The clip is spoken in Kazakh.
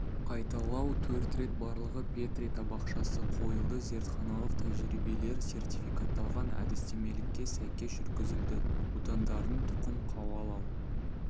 қайталау төрт рет барлығы петри табақшасы қойылды зертханалық тәжірибелер сертификатталған әдістемелікке сәйкес жүргізілді будандардың тұқым қуалау